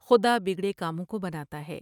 خدا بگڑے کاموں کو بنا تا ہے ۔